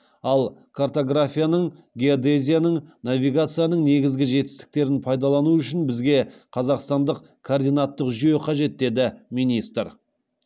ал картографияның геодезияның навигацияның негізгі жетістіктерін пайдалану үшін бізге қазақстандық координаттық жүйе қажет деді министр